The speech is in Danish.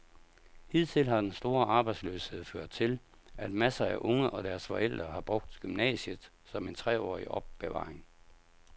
Hidtil har den store arbejdsløshed ført til, at masser af unge og deres forældre har brugt gymnasiet som en treårig opbevaring.